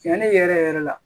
Cɛnni yɛrɛ yɛrɛ la